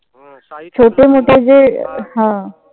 छोटे मोठे जे हां.